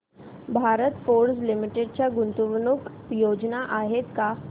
Bharat Forge Limited च्या गुंतवणूक योजना आहेत का